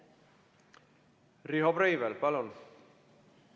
Riho Breivel, palun!